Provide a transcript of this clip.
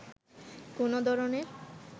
কোনো ধরনের